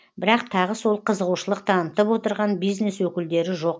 бірақ тағы сол қызығушылық танытып отырған бизнес өкілдері жоқ